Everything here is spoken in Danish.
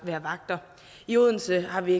vagter i odense har vi